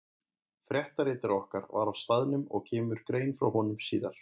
Fréttaritari okkar var á staðnum og kemur grein frá honum síðar.